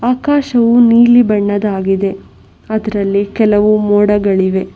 ಆಕಾಶವು ನೀಲಿ ಬಣ್ಣದ್ದಾಗಿದೆ ಅದರಲ್ಲಿ ಕೆಲವು ಮೋಡಗಳಿವೆ.